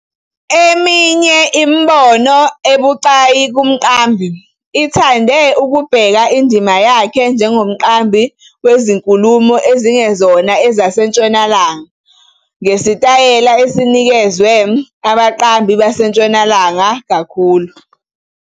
Eminye imibono ebucayi kumqambi ithande ukubheka indima yakhe njengomqambi wezinkulumo ezingezona ezaseNtshonalanga ngesitayela esinikezwe abaqambi baseNtshonalanga kakhulu.